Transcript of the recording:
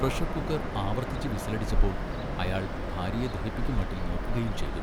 Pressure cooker ആവർത്തിച്ചു വിസിലടിച്ചപ്പോൾ അയാൾ ഭാര്യയെ ദഹിപ്പിക്കുംമട്ടിൽ നോക്കുകയും ചെയ്തു.